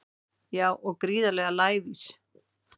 Já og gríðarlega lævís